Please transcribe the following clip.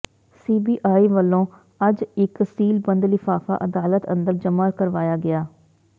CBI ਵਲੋਂ ਅਜ ਇਕ ਸੀਲਬੰਦ ਲਿਫਾਫਾ ਅਦਾਲਤ ਅੰਦਰ ਜਮਾ ਕਰਵਾਇਆ ਗਿਆ